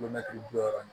bi wɔɔrɔ